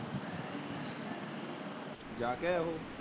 ਜਾ ਕੇ ਆਇਆ ਉਹ।